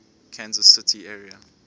kansas city area